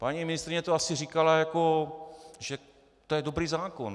Paní ministryně to asi říkala, jako že to je dobrý zákon.